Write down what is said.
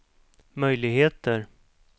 möjligheter